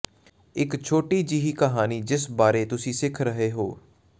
ਇੱਕ ਛੋਟੀ ਜਿਹੀ ਕਹਾਣੀ ਜਿਸ ਬਾਰੇ ਤੁਸੀਂ ਸਿੱਖ ਰਹੇ ਹੋ